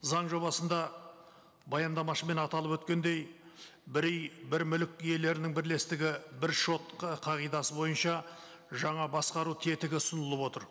заң жобасында баяндамашымен аталып өткендей бір үй бір мүлік иелерінің бірлестігі бір шот ы қағидасы бойынша жаңа басқару тетігі ұсынылып отыр